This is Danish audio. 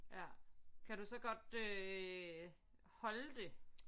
Ja kan du så godt øh holde det